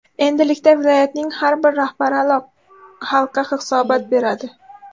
Endilikda viloyatning har bir rahbari xalqqa hisobot beradi.